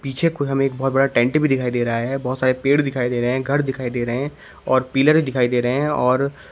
पीछे को हमे एक बहोत बड़ा टेंट भी दिखाई दे रहा है बहोत सारे पेड़ दिखाई दे रहे हैं घर दिखाई दे रहे है और पिलर भी दिखाई दे रहे है और --